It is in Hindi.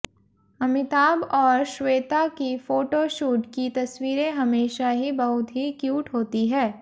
अमिताभ और श्वेता की फोटोशूट की तस्वीरें हमेशा ही बहुत ही क्यूट होती है